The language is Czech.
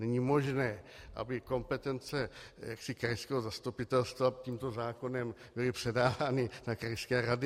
Není možné, aby kompetence krajského zastupitelstva tímto zákonem byly předávány na krajské rady.